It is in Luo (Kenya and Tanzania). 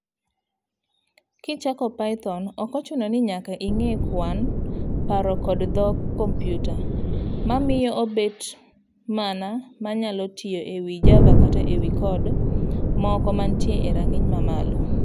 Kichako, Python ok ochuno ni nyaka ing'e kwan, paro kod dhog kompiuta, mamiyo obet mano manyalo tiyo ewi Java kata ewi code moko mantie e rang'iny mamalo.